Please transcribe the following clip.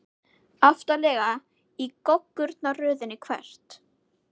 Aftarlega í goggunarröðinni Hvert?